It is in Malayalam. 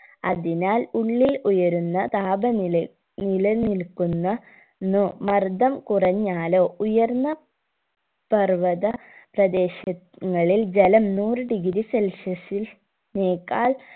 അതിനാൽ ഉള്ളിൽ ഉയരുന്ന താപനില നിലനിൽക്കുന്ന നോ മർദ്ദം കുറഞ്ഞാലോ ഉയർന്ന പർവ്വത പ്രദേശങ്ങളിൽ ജലം നൂറ് degree celsius നേക്കാൾ